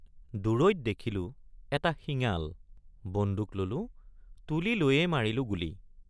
দূৰৈত দেখিলোঁ এটা শিঙাল বন্দুক ললোঁ তুলি লৈয়েই মাৰিলোঁ গুলী।